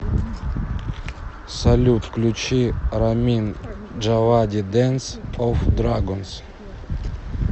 салют включи рамин джавади дэнс оф драгонс